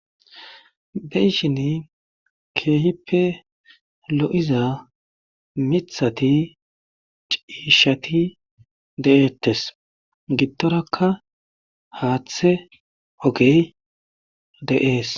Be'ishin keehippe lo7iza mithati ciishati deeettes gittorakka haaththe ogey de7ees.